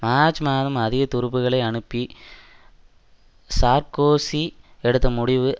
March மாதம் அதிக துருப்புக்களை அனுப்ப சார்க்கோசி எடுத்த முடிவு